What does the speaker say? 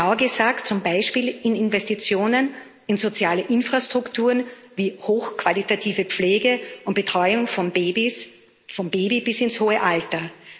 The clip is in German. Genauer gesagt zum Beispiel durch Investitionen in soziale Infrastrukturen, wie hochqualitative Pflege und Betreuung vom Baby bis ins hohe Alter.